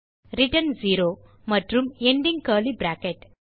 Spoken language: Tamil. ரிட்டர்ன் 0 மற்றும் எண்டிங் கர்லி பிராக்கெட்